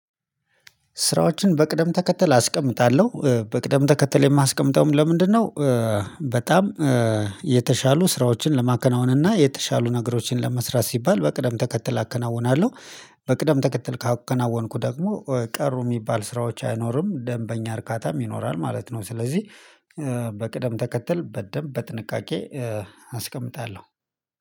ስራዎችን በቅደም ተከተል አስቀምጣለሁ በቅደም ተከተል የማስቀምጠውም ለምንድነው? በጣም የተሻሉ ስራዎችን ለማከናወን እና የተሻሉ ነገሮችን ለመስራት ሲባል በቅደም ተከተል አከናውናለሁ። በቅደም ተከትል ካከናወንኩ ደግሞ ቀሩ የሚባል ስራዎች አይኖርም ደንበኛ እርካታም ይኖራል ማለት ነው። ስለዚህ በቅደም ተከተል በደንብ በጥንቃቄ አስቀምጣለሁ